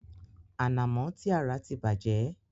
Ànàmo ti a rà ti bàjẹ́.